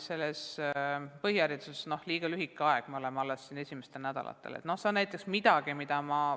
Põhihariduses rakendame seda alles esimesi nädalaid, mis on tagasiside saamiseks liiga lühike aeg.